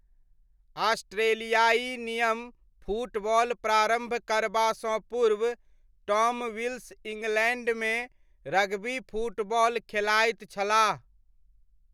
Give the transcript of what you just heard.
ऑस्ट्रेलियाइ नियम फुटबॉल प्रारम्भ करबासँ पूर्व टॉम विल्स इङ्ग्लैण्डमे रग्बी फुटबॉल खेलाइत छलाह।